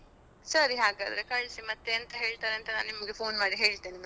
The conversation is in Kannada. ಸರಿ ಹಾಗಾದ್ರೆ ಕಳ್ಸಿ ಮತ್ತೆ ಎಂತ ಹೇಳ್ತಾರೆ ಅಂತ ನಾನ್ ನಿಮ್ಗೆ phone ಮಾಡಿ ಹೇಳ್ತೇನೆ ಮತ್ತೆ ಆಯ್ತಾ.